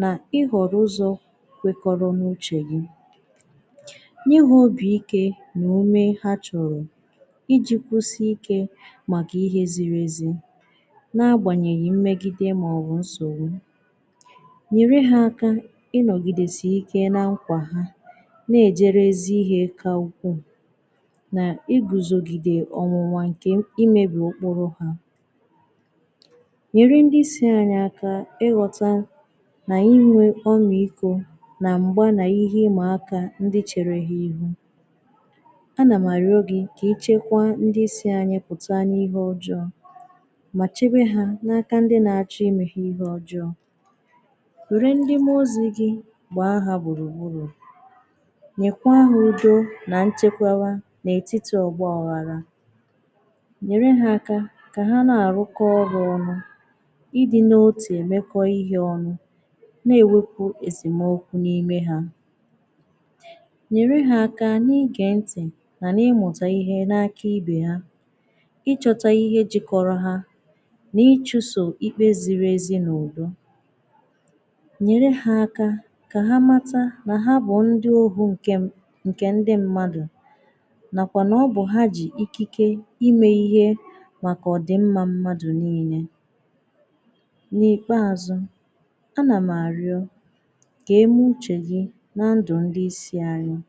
n’ịhọ̀rọ̀ ụzọ̀ kwekoro n’uchè gì nyè ha obi ike n’umè hà chọ̀rọ̀ ijì kwụsị̀ ike màkà ihe zirì ezì na-agbanyèghì mmegidè maọ̀bụ̀ nsogbù nyerè hà aka ịnọ̀gị̀dèsì ike nà nkwà hà na-ejerè ezì ihe kà ukwuù n’iguzògidè ọnwụ̀nwà nkè imebì òkpòrò hà nyerè ndị isi anyị aka ịghọtà n’inwè ọmị̀ikò nà m̄gbà nà ihe ịmakà ihe ndị cherè hà ihu a nà m arịọ̀ gị̀ kà echekwà ndị isi anyị pụtà n’ihe ọjọọ̀ mà chebè hà n’akà ndị na-achọ̀ imè hà ihe ọjọọ̀ kwerè ndị̀ mmụozì gì gbaa hà gburùgburù nyekwà ha udò nà nchekwarà n’etitì ọgbà agharà nyerè hà akà kà hà na-arụkọ̀ ọrụ̀ ọnụ̀ ịdị̀ n’otù emekọ̀ ihe ọnụ̀ na-ewepù esèmokwù n’imè ha nyerè hà akà n’igè ntị̀ mà n’ịmụtà ihe n’akà ibe yà ịchọ̀tà ihe jikorō ha n’ichìsò ikpè zirì ezì n’ụbụ̀ nyerè hà akà kà hà màtà nà hà bụ̀ ndị̀ ohù nke m nkè ndị̀ mmadụ̀ nakwà nà ọ bụ̀ hà jì ikike imè ihe màkà ọdị̀ mmà mmadụ̀ niinè n’ikpeazụ̀ a nà m arịọ̀ kà emè uchè gì nà ndụ̀ ndị̀ isi anyị̀